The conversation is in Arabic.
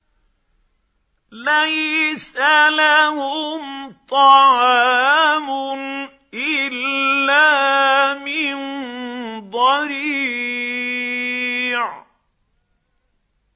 لَّيْسَ لَهُمْ طَعَامٌ إِلَّا مِن ضَرِيعٍ